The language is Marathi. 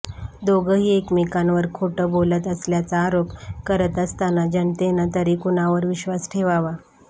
दोघंही एकमेकांवर खोटं बोलत असल्याचा आरोप करत असताना जनतेनं तरी कुणावर विश्वास ठेवावा